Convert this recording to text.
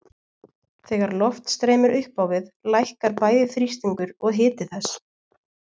Þegar loft streymir upp á við lækkar bæði þrýstingur og hiti þess.